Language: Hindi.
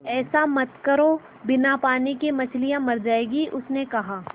ऐसा मत करो बिना पानी के मछलियाँ मर जाएँगी उसने कहा